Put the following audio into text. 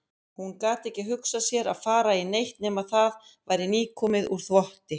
Hún gat ekki hugsað sér að fara í neitt nema það væri nýkomið úr þvotti.